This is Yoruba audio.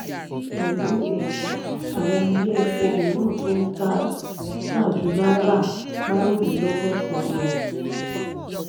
pẹlú èyí àwọn ilé epo míràn tún n táa ju náírà marunlelogosan lọ.